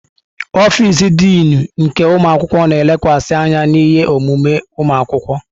Ọfịs Dịnụ nke ụmụ akwụkwọ na-elekwasị anya na ihe omume ụmụ akwụkwọ.